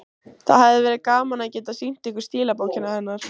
Það hefði verið gaman að geta sýnt ykkur stílabókina hennar.